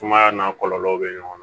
Sumaya n'a kɔlɔlɔw bɛ ɲɔgɔn na